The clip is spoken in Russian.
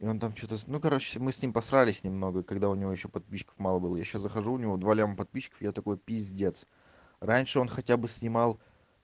и он там что-то ну короче мы с ним поссорились немного когда у него ещё подписчиков мало было я сейчас захожу у него два миллиона подписчиков я такой пиздец раньше он хотя бы снимал